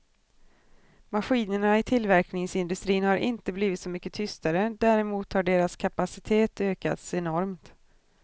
Maskinerna i tillverkningsindustrin har inte blivit så mycket tystare, däremot har deras kapacitet ökats enormt.